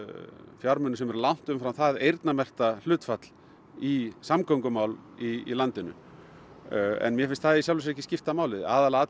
fjármunum sem eru langt umfram það eyrnamerkta hlutfall í samgöngumál í landinu en mér finnst það í sjálfu sér ekki skipta máli aðalatriðið